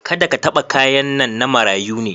Kada ka taba kayan nan, na marayu ne.